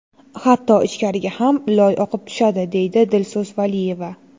Hatto ichkariga ham loy oqib tushadi, deydi Dilso‘z Valiyeva.